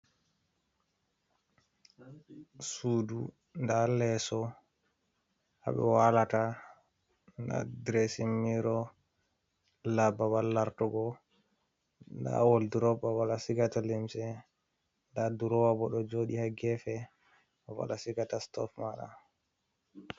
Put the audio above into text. Sudu nda leso haɓe walata nda diresimiro lababal lartugo, nda woldurop babal a sigata lymse, nda durowa bo ɗo joɗi ha gefe, babal asigata stof maɗa.